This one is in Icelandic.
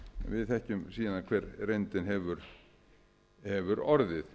við þekkjum síðan hver reyndin hefur orðið